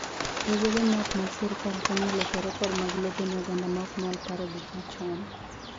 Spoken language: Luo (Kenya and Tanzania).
Riwruoge ma ok mag sirkal konyo e loso rekod mag lope ne oganda ma ok nyal paro gik machon..